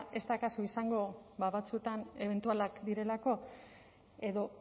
ez da akaso izango batzuetan ebentualak direlako edo